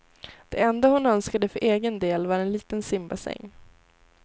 Det enda hon önskade för egen del var en liten simbassäng.